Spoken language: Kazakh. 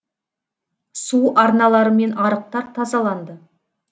су арналары мен арықтар тазаланды